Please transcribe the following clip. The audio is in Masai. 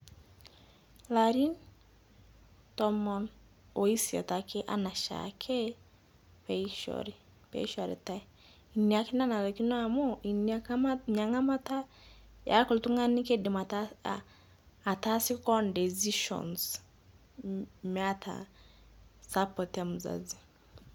Laarin tomoon osiet ake ana shaake pee ishoori pee shooritai. Enia ake nanarikino amu enia nkaamat, nia ng'amataa eaku ltung'ani keidiim ataasa, ataasie koon decisions meeta support e mzazi.